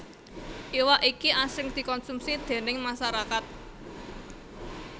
Iwak iki asring dikonsumsi déning masarakat